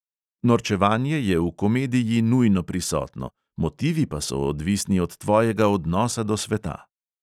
Norčevanje je v komediji nujno prisotno, motivi pa so odvisni od tvojega odnosa do sveta.